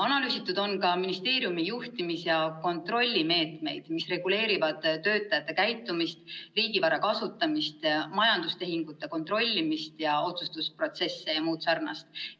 Analüüsitud on ka ministeeriumi juhtimis- ja kontrollimeetmeid, mis reguleerivad töötajate käitumist, riigivara kasutamist, majandustehingute kontrollimist, otsustusprotsesse jms.